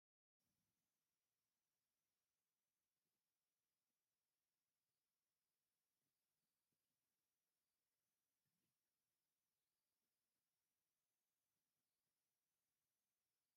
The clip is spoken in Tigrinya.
ቁኖ ተቆኒና ኣብርእሳ ድማ ፃዕዳ ሕብሪ ዘለዎ ጠስሚ ገይራ ኣላ። ብቆርበት ተሸፊና ኣብ ጥሽ ኣትያ ዘላ ጎል ኣንስተየቲ ኣብ ምንታይ ዓዲ እዮም ከምዚ ዝገብሩ ይመስለኩም?